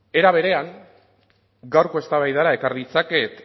era berean gaurko eztabaidara ekar ditzaket